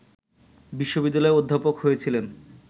বিশ্ববিদ্যালয়ের অধ্যাপক হয়েছিলেন